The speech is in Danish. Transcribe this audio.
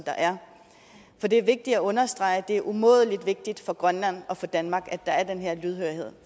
er for det er vigtigt at understrege at det er umådelig vigtigt for grønland og for danmark at der er den her lydhørhed